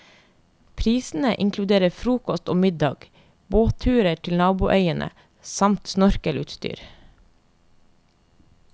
Prisene inkluderer frokost og middag, båtturer til naboøyene samt snorkelutstyr.